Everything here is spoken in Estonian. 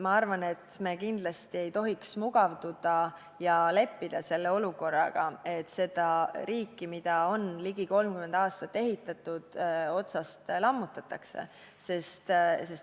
Ma arvan, et me ei tohiks kindlasti mugavduda ja leppida selle olukorraga, et seda riiki, mida on ligi 30 aastat ehitatud, otsast lammutatakse.